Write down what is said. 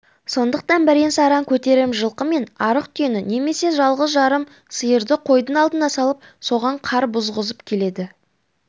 сондықтан бірен-саран көтерем жылқы мен арық түйені немесе жалғыз-жарым сиырды қойдың алдына салып соған қар бұзғызып келеді